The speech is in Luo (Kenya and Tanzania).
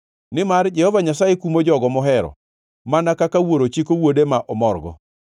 nimar Jehova Nyasaye kumo jogo mohero mana kaka wuoro chiko wuode ma omorgo.